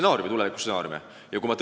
Need tulevikustsenaariumid on väga erinevad.